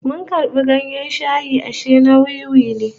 Mun karbi ganyen shayi ashe na wiwi ne